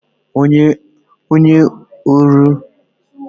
Onye ọrụ ubi ahụ ọ̀ kpachapụrụ okooko osisi n'ifuru n'abalị ụnyaahụ?